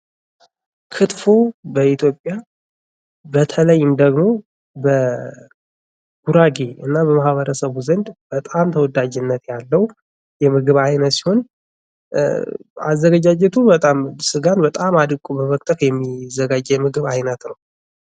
ክትፎ በኢትዮጵያ በተለይም ደግሞ በጉራጌና በማህበረሰቡ ዘንድ በጣም ተወዳጅነት ያለው ተወዳጅ ምግብ ሲሆን አዘገጃጀቱ ስጋን በጣም አደቀው በመክተፍ የሚዘጋጅ የምግብ ዓይነት ነው።